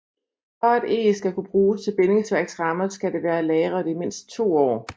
For at eg skal kunne bruges til bindingsværksrammer skal det være lagret i mindst to år